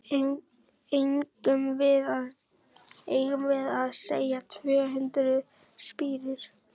Eigum við að segja tvö hundruð spírur?